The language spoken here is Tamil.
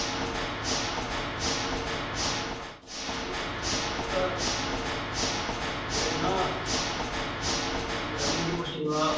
அப்புறம் என்ன தண்ணி கிண்ணி குடிச்சீங்களா